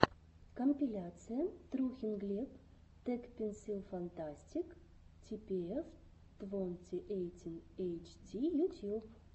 компиляция трухин глеб тэкпэнсилфантастик типиэф твонти эйтин эйчди ютьюб